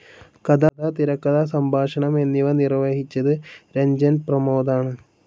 കഥ, തിരക്കഥ, സംഭാഷണം എന്നിവ നിർവ്വഹിച്ചത് രഞ്ജൻ പ്രമോദ് ആണ്.